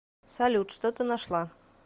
салют что ты нашла